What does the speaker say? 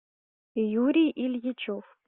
юрий ильичев